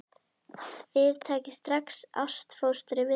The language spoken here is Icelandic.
Þið takið strax ástfóstri við það.